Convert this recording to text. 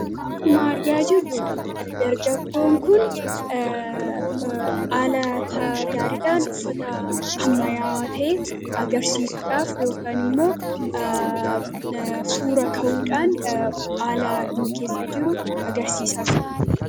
akkuma argaa jirru dargaggoon kun aalata gaariidhaan dhufata hammayaawatee agarsiisuudhaaf yookan immoo suura ka'uudhaan aalaa in keessa jiru agarsiisaa